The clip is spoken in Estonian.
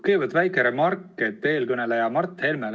Kõigepealt väike remark eelkõneleja Mart Helmele.